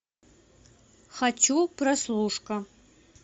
хочу прослушка